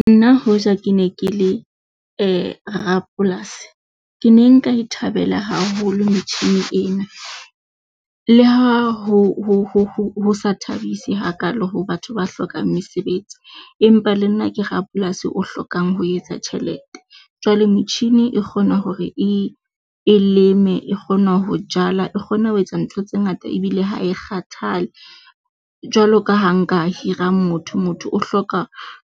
Nna hoja ke ne ke le rapolasi, ke ne nka e thabela haholo metjhini ena, le ha ho ho ho sa thabisi ha kaalo ho batho ba hlokang mesebetsi, empa le nna ke rapolasi o hlokang ho etsa tjhelete. Jwale metjhini e kgona hore e, e leme, e kgona ho jala, e kgona ho etsa ntho tse ngata ebile ha e kgathale. Jwalo ka ha nka hira motho, motho o hloka